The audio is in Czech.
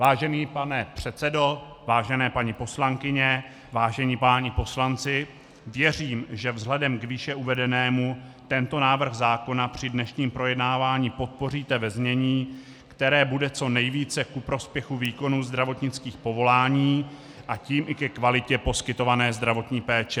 Vážený pane předsedo, vážené paní poslankyně, vážení páni poslanci, věřím, že vzhledem k výše uvedenému tento návrh zákona při dnešním projednávání podpoříte ve znění, které bude co nejvíce ku prospěchu výkonu zdravotnických povolání, a tím i ke kvalitě poskytované zdravotní péče.